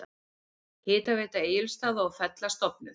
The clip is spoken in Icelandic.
Hitaveita Egilsstaða og Fella stofnuð.